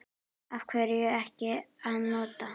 Af hverju ekki að nota?